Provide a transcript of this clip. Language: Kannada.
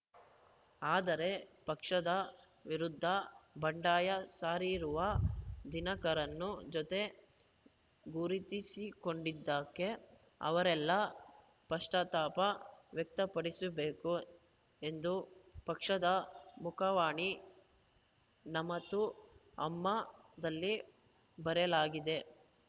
ಆದರೆ ಪಕ್ಷದ ವಿರುದ್ಧ ಬಂಡಾಯ ಸಾರಿರುವ ದಿನಕರನ್‌ನು ಜೊತೆ ಗುರುತಿಸಿಕೊಂಡಿದ್ದಕ್ಕೆ ಅವರೆಲ್ಲಾ ಪಶ್ಚಾತ್ತಾಪ ವ್ಯಕ್ತಪಡಿಸಬೇಕು ಎಂದು ಪಕ್ಷದ ಮುಖವಾಣಿ ನಮತು ಅಮ್ಮಾದಲ್ಲಿ ಬರೆಯಲಾಗಿದೆ